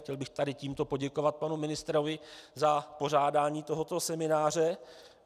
Chtěl bych tady tímto poděkovat panu ministrovi za pořádání tohoto semináře.